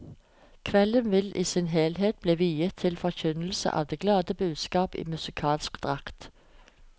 Kvelden vil i sin helhet bli viet til forkynnelse av det glade budskap i musikalsk drakt.